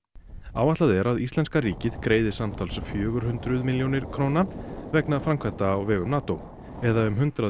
áætlað er að íslenska ríkið greiði samtals um fjögur hundruð milljónir króna vegna framkvæmda á vegum NATO eða um hundrað